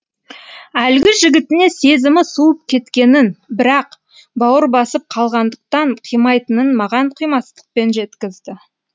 әлгі жігітіне сезімі суып кеткенін бірақ бауыр басып қалғандықтан қимайтынын маған қимастықпен жеткізді